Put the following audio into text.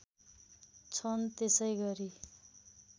छन त्यसै गरी